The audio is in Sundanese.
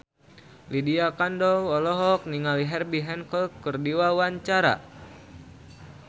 Lydia Kandou olohok ningali Herbie Hancock keur diwawancara